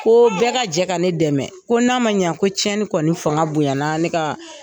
Ko bɛɛ ka jɛ ka ne dɛmɛ. Ko n'a ma ɲɛ ko tiɲɛni kɔni fanga bonya na ne ka